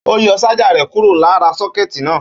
Ó yọ ṣájà rẹ kúro lára sọ́kẹ́tì náà.